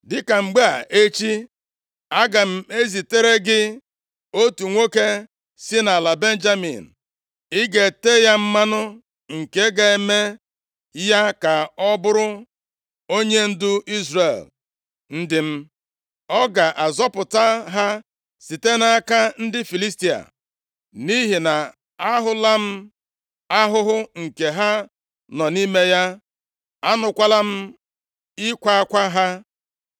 “Dịka mgbe a echi, aga m ezitere gị otu nwoke sị nʼala Benjamin. Ị ga-ete ya mmanụ nke ga-eme ya ka ọ bụrụ onyendu Izrel ndị m. Ọ ga-azọpụta ha site nʼaka ndị Filistia, nʼihi na ahụla m ahụhụ nke ha nọ nʼime ya; anụkwala m ịkwa akwa ha.”